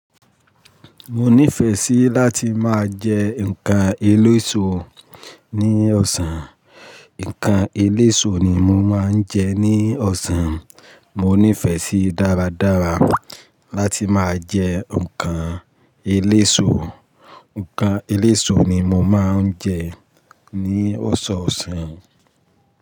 Mo nífẹ̀ẹ́ sí láti máa jẹ ǹkan eléso ní ọ̀sán. Ǹkan eléso ni mo máa ń jẹ ní ọ̀sán. Mo nífẹ̀ẹ́ sí dáradára láti máa jẹ ǹkan eléso. Ǹkan eléso ni mo máa ń jẹ ní ọ̀sọ̀ọ̀sán.